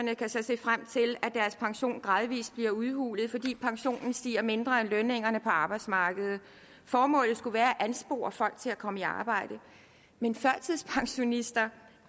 kan så se frem til at pension gradvis bliver udhulet fordi pensionen stiger mindre end lønningerne på arbejdsmarkedet formålet skulle være at anspore folk til at komme i arbejde men førtidspensionister